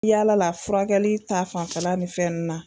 Yala la furakɛli ta fanfɛla ni fɛn nu na